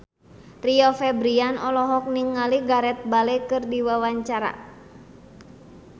Rio Febrian olohok ningali Gareth Bale keur diwawancara